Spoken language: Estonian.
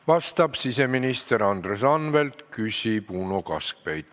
Vastab siseminister Andres Anvelt, küsib Uno Kaskpeit.